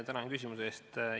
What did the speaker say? Tänan küsimuse eest!